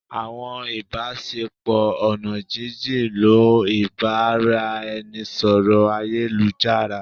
awọn ibasepo oná jin-jin ń lo ibaraẹnisọrọ ayélujará.